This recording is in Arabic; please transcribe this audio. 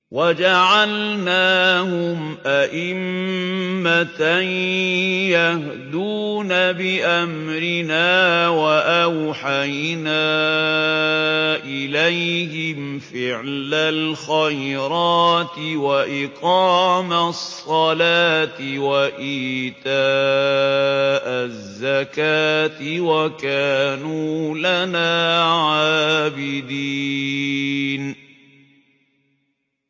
وَجَعَلْنَاهُمْ أَئِمَّةً يَهْدُونَ بِأَمْرِنَا وَأَوْحَيْنَا إِلَيْهِمْ فِعْلَ الْخَيْرَاتِ وَإِقَامَ الصَّلَاةِ وَإِيتَاءَ الزَّكَاةِ ۖ وَكَانُوا لَنَا عَابِدِينَ